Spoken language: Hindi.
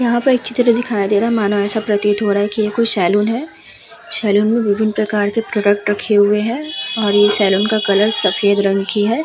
यहाँ पर एक चित्र दिखायी दे रहा है मानो प्रतीत हो रहा है कि यह कोई सैलून है सैलून में विभिन्न प्रकार के प्रोडक्ट रखे हुए हैं और ये सैलून का कलर सफेद रंग की है।